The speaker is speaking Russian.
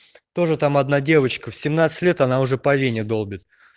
тоже там одна девочка в семнадцать лет она уже по вене долбит